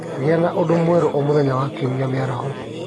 Gĩa na ũndũ mwerũ o mũthenya wa Kiumia mĩaraho